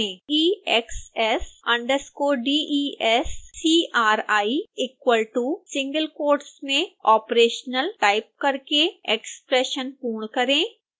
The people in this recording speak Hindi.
exs_descri equal to single quotes में operational टाइप करके एक्स्प्रेशन पूर्ण करें